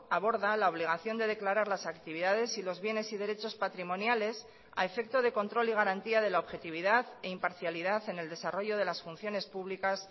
aborda la obligación de declarar las actividades y los bienes y derechos patrimoniales a efecto de control y garantía de la objetividad e imparcialidad en el desarrollo de las funciones públicas